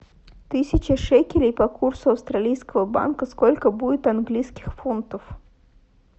тысяча шекелей по курсу австралийского банка сколько будет английских фунтов